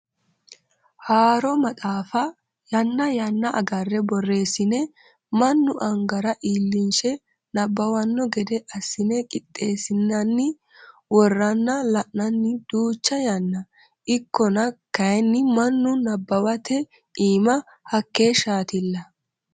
Haaro maxaafa yanna yanna agare borreessine mannu angara iillinshe nabbawano gede assine qixeesine worranna la'nanni duucha yanna ikkonna kayinni mannu nabbawate iima hakeeshshatilla.